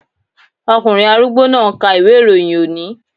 Ọkùnrin arúgbó náà ń ka ìwé-ìròyìn òní